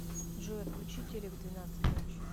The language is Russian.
джой отключи телек в двенадцать ночи